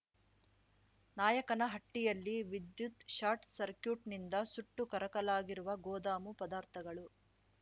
ನಾಯಕನಹಟ್ಟಿಯಲ್ಲಿ ವಿದ್ಯುತ್‌ಶಾರ್ಟ್‌ಸಕ್ರ್ಯೂಟ್‌ನಿಂದ ಸುಟ್ಟು ಕರಕಲಾಗಿರುವ ಗೋದಾಮು ಪದಾರ್ಥಗಳು